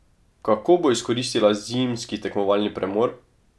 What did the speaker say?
Kako bo izkoristila zimski tekmovalni premor?